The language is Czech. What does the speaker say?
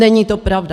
Není to pravda!